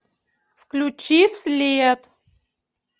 включи след